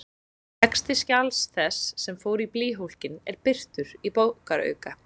Texti skjals þess, sem fór í blýhólkinn, er birtur í bókarauka.